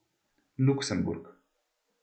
Luksemburg.